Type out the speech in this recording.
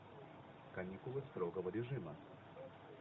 каникулы строгого режима